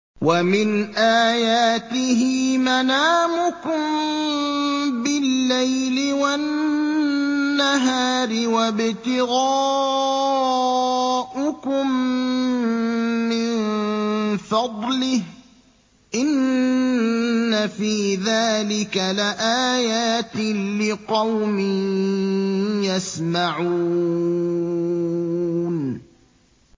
وَمِنْ آيَاتِهِ مَنَامُكُم بِاللَّيْلِ وَالنَّهَارِ وَابْتِغَاؤُكُم مِّن فَضْلِهِ ۚ إِنَّ فِي ذَٰلِكَ لَآيَاتٍ لِّقَوْمٍ يَسْمَعُونَ